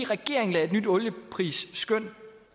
regeringen lagde et nyt olieprisskøn